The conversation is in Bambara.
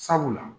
Sabula